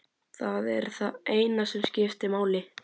Það er það eina sem skiptir máli.